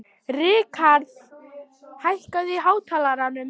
Rikharð, hækkaðu í hátalaranum.